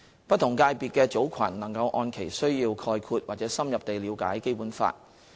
不同界別的組群能按其需要概括或深入地了解《基本法》。